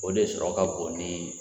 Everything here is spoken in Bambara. O de sɔrɔ ka bon ni